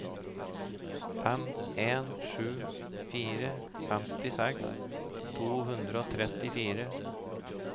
fem en sju fire femtiseks to hundre og trettifire